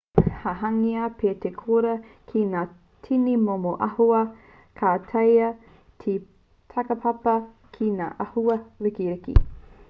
ka hangaia pea te koura ki ngā tini momo āhua ka taea te takapapa ki ngā āhua ririki